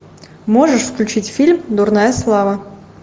можешь включить фильм дурная слава